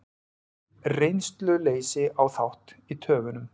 Reynsluleysi á þátt í töfunum